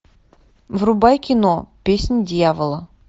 врубай кино песнь дьявола